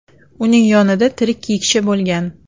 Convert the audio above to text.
Uning yonida tirik kiyikcha bo‘lgan.